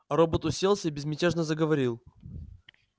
робот уселся и безмятежно заговорил